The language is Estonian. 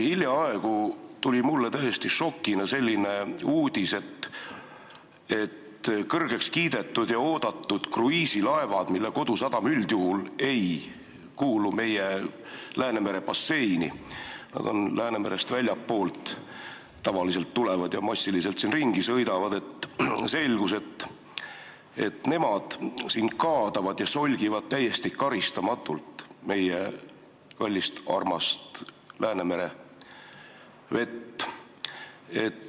Hiljaaegu tuli mulle täiesti šokina selline uudis: selgus, et kõrgeks kiidetud ja oodatud kruiisilaevad, mille kodusadam üldjuhul ei kuulu meie Läänemere basseini – nad tulevad tavaliselt väljastpoolt Läänemerd ja sõidavad siin ringi –, kaadavad ja solgivad täiesti karistamatult meie kallist-armast Läänemere vett.